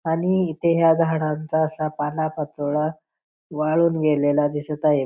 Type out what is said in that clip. आणि इथे ह्या झाडांचा असा पालापाचोळा वाळून गेलेला दिसत आहे.